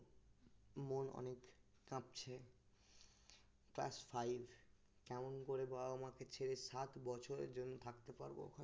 class five কেমন করে বাবা মাকে ছেড়ে সাত বছরের জন্য থাকতে পারবো ওখানে